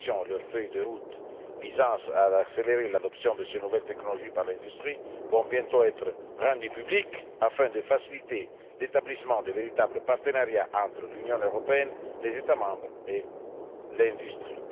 spécialisées. Leurs feuilles de route visant à accélérer l'adoption de ces nouvelles technologies par l'industrie vont bientôt être rendues publiques afin de faciliter l'établissement de véritables partenariats entre l'Union européenne, les États membres et